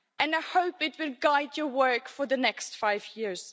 I hope it will guide your work for the next five years.